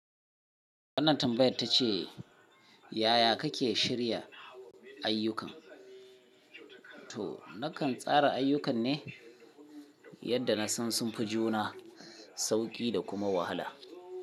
Wannan tambayar ta ce yaya kake shirya ayyukan. To nakan tsara ayyukan ne yadda na san sun fi juna sauƙi da kuma wahala.